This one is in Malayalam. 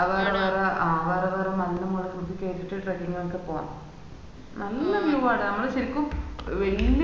അ വേറേ വേറെ മമ്മു മാരെ കുത്തി കേട്ടീട് trecking ഒക്കെ പോവാ നല്ല view ആട അമ്മാളു ശെരിക്കും വല്യ